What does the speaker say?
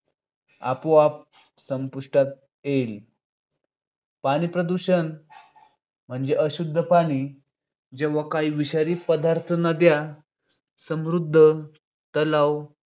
आपोआप संपुष्टात येईल. पाणी प्रदूषण म्हणजे अशुद्ध पाणी. जेव्हा काही विषारी पदार्थ नद्या, समृद्ध तलाव